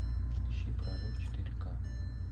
ищи прорыв четыре ка